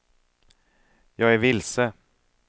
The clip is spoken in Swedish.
jag är vilse